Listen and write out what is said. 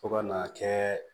Fo ka n'a kɛ